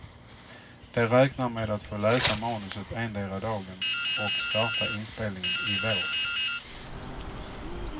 De räknar med att få läsa manuset endera dagen och starta inspelningen i vår.